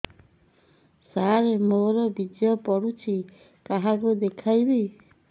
ସାର ମୋର ବୀର୍ଯ୍ୟ ପଢ଼ୁଛି କାହାକୁ ଦେଖେଇବି